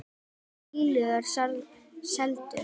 Verst að fíllinn er seldur.